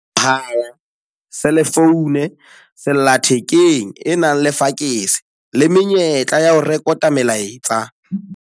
Mohala, selefoune, sellathekeng e nang le fakese le menyetla ya ho rekota melaetsa